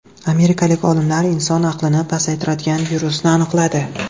Amerikalik olimlar inson aqlini pasaytiradigan virusni aniqladi.